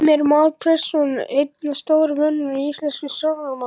Heimir Már Pétursson: Einn af stóru mönnunum í íslenskum stjórnmálum?